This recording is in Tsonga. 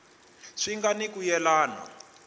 swi nga ni ku yelana